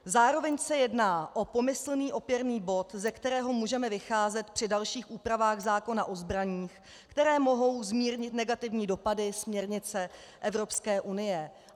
Zároveň se jedná o pomyslný opěrný bod, ze kterého můžeme vycházet při dalších úpravách zákona o zbraních, které mohou zmírnit negativní dopady směrnice Evropské unie.